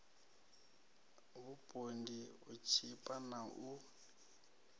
vhupondi u tshipa na u